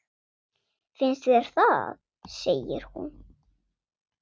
Finnst þér það, segir hún.